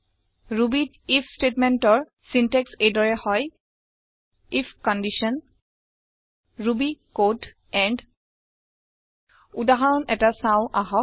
Rubyত আইএফ statementৰ চিন্টেক্স এই দৰে হয় if condition Ruby code and উদাহৰণ এটা চাওঁ আহক